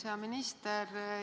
Hea minister!